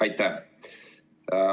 Aitäh!